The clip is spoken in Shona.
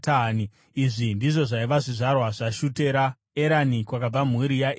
Izvi ndizvo zvaiva zvizvarwa zvaShutera: Erani, kwakabva mhuri yaErani.